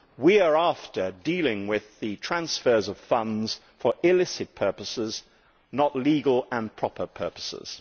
we are after dealing with the transfers of funds for illicit purposes, not legal and proper purposes.